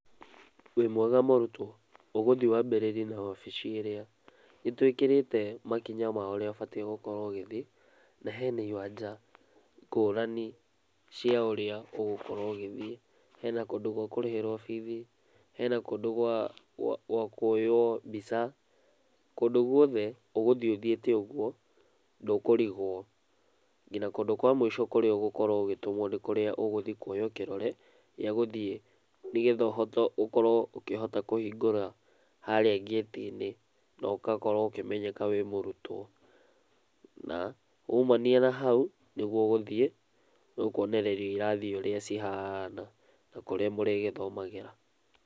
Wĩ mwega mũrutwo? Ũgũthiĩ waambĩrĩrie na wabici ĩrĩa, nĩ twĩkĩrĩte makinya ma ũrĩa ũbatiĩ ũgĩkorũo ũgithiĩ na hena iwanja gũrani cia ũrĩa ũgukorũo ũgĩthii. Hena kũndũ gwa kũrĩhĩrwo bithi, hena kũndũ gwa kuoywo mbica, kũndũ gũothe ũgũthiĩ ũthiĩte ũguo ndũkũrigwo. Nginya kũndũ kwa mũico kũrĩa ũgũkorwo ũgĩtũmwi nĩ kũrĩa ũgũthiĩ kuoywo kĩrore gĩa gũthiĩ nĩgetha ũkorwo ũkĩhota kũhingũra harĩa ngĩtiinĩ na ũgakorwo ukĩmenyeka wĩ mũrutwo na woimania na hau, nĩguo ũgũthiĩ nĩũkuonererio irathi ũrĩa cihana na kũrĩa mũrĩgĩthomagĩra.